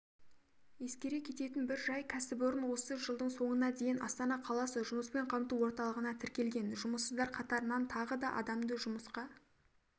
ескере кететін бір жай кәсіпорын осы жылдың соңына дейін астана қаласы жұмыспен қамту орталығына тіркелген жұмыссыздар қатарынан тағы да адамды жұмысқа